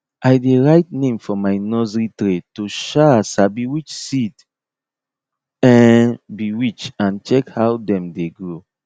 i dey write name for my nursery tray to um sabi which seed um be which and check how dem dey grow